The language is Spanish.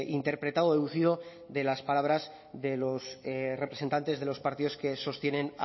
interpretado deducido de las palabras de los representantes de los partidos que sostienen